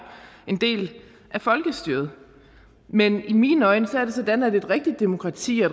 en del af folkestyret men i mine øjne er det sådan at et rigtigt demokrati og